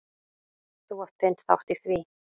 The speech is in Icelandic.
Þú átt þinn þátt í því.